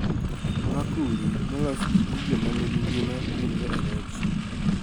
Makuri molos gi gigo manigi ngima yudore e rech